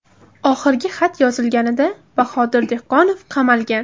Oxirgi xat yozilganida Bahodir Dehqonov qamalgan.